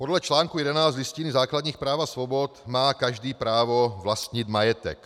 Podle článku 11 Listiny základních práv a svobod má každý právo vlastnit majetek.